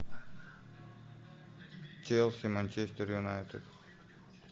челси манчестер юнайтед